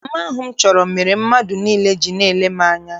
Mma ahụ m chọrọ mere mmadụ niile ji na-ele m anya.